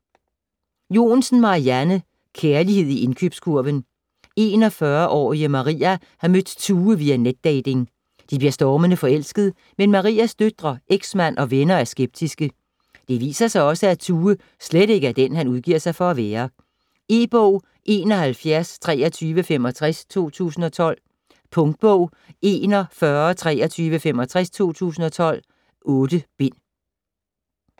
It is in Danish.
Joensen, Marianne: Kærlighed i indkøbskurven 41-årige Maria har mødt Tue via netdating. De bliver stormende forelsket, men Marias døtre, ex-mand og venner er skeptiske. Det viser sig også, at Tue slet ikke er den, han udgiver sig for at være. E-bog 712365 2012. Punktbog 412365 2012. 8 bind.